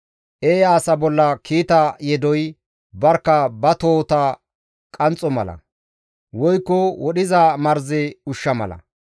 Eeya asa bolla kiita yedoy barkka ba tohota qanxxizayssa mala; woykko wodhiza marze ushsha mala.